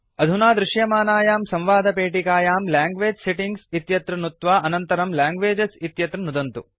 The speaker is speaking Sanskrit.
अधुना दृश्यमानायां संवादपेटिकायां लैंग्वेज सेटिंग्स् इत्यत्र नुत्वा अनन्तरं लैंग्वेजेस् इत्यत्र नुदन्तु